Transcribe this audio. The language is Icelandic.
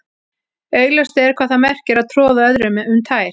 augljóst er hvað það merkir að troða öðrum um tær